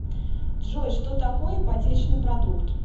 джой что такое ипотечный продукт